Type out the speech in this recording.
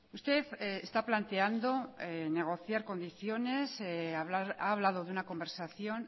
usted está planteando negociar condiciones ha hablado de una conversación